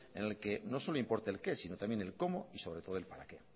en el que no solo importe el qué sino también el cómo y sobre todo el para qué